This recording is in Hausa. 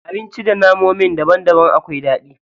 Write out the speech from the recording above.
Abinci da namomin daban daban akwai daɗi.